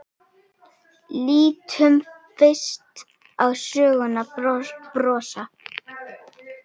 Lítum fyrst á sögnina brosa